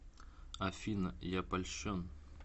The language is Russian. афина я польщен